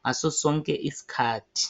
ngaso sonke iskhathi.